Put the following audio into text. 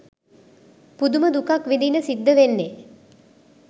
පුදුම දුකක් විඳින්න සිද්ද වෙන්නේ